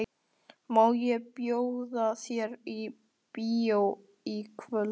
Má ég bjóða þér í bíó í kvöld?